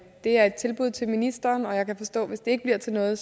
det er et tilbud til ministeren og jeg kan forstå at hvis det ikke bliver til noget